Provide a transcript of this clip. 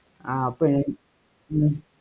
ஆஹ் அப்ப ஹம்